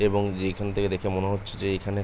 এবং যেইখান থেকে দেখে মনে হচ্ছে যে এইখানে--